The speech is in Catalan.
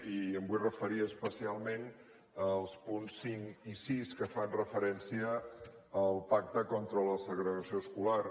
i em vull referir especialment als punts cinc i sis que fan referència al pacte contra la segregació escolar